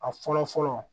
A fɔlɔ fɔlɔ